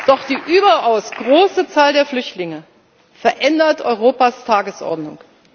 Doch die überaus große Zahl der Flüchtlinge verändert Europas Tagesordnung.